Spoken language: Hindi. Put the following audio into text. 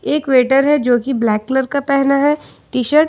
एक वेटर है जो की ब्लैक कलर का पहना है टी शर्ट ।